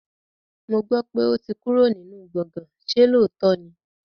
Mo gbọ́ pé ó ti kúrò nínú gbọ̀gán, ṣe lóòótọ́ ni?